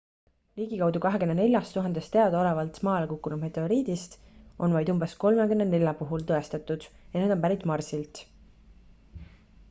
ligikaudu 24 000 teadaolevalt maale kukkunud meteoriidist on vaid umbes 34 puhul tõestatud et nad on pärit marsilt